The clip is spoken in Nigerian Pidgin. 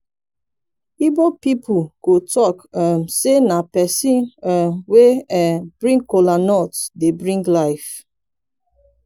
igbo pipol go talk um say na pesin um wey um bring kola dey bring life